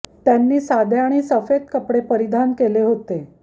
त्यांनी साधे आणि सफेद कपडे परिधान केले होते